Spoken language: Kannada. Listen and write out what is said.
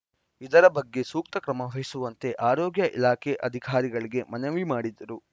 ಇದರ ಬಗ್ಗೆ ಸೂಕ್ತ ಕ್ರಮ ವಹಿಸುವಂತೆ ಆರೋಗ್ಯ ಇಲಾಖೆ ಅಧಿಕಾರಿಗಳಿಗೆ ಮನವಿ ಮಾಡಿದರು